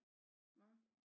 Hvad